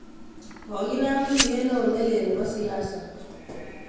Kokinaam tuyeet neo neleel nebo siasa